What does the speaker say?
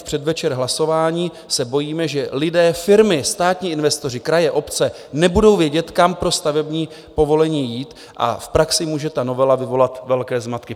V předvečer hlasování se bojíme, že lidé, firmy, státní investoři, kraje, obce nebudou vědět, kam pro stavební povolení jít, a v praxi může ta novela vyvolat velké zmatky.